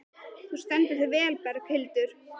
Þú stendur þig vel, Berghildur!